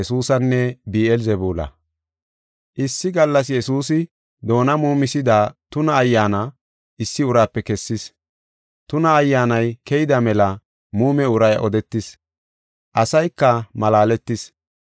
Issi gallas Yesuusi, doona muumisida tuna ayyaana issi uraape kessis. Tuna ayyaanay keyida mela muume uray odetis. Asayka malaaletis.